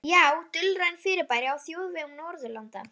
Já, dulræn fyrirbæri á þjóðvegum Norðurlanda.